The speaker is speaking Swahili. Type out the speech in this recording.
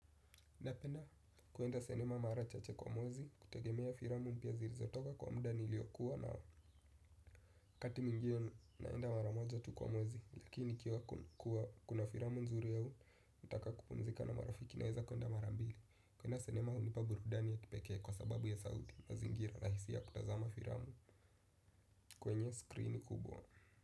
Napenda kuenda sinema mara chache kwa mwezi kutegemea filamu mpya zilizotoka kwa muda niliyokuwa na kati mwingi naenda mara moja tu kwa mwezi lakini ikiwa kuna filamu nzuri au nikitaka kupumzika na marafiki naweza kuenda mara mbili. Kuenda sinema hunipa burudani ya kipekee kwa sababu ya sauti mazingira rahisi ya kutazama firamu kwenye screen kubwa.